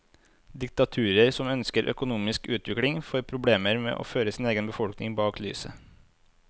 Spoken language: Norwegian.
Diktaturer som ønsker økonomisk utvikling, får problemer med å føre egen befolkning bak lyset.